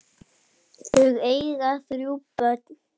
Þau eiga þrjú börn.